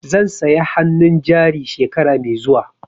Zan saya hannun jari shekara mai zuwa.